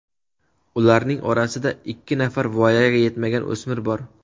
Ularning orasida ikki nafar voyaga yetmagan o‘smir bor.